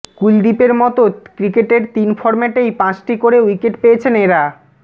কুলদীপের মতো ক্রিকেটের তিন ফর্ম্যাটেই পাঁচটি করে উইকেট পেয়েছেন এঁরা